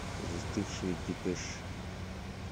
застывшие депеши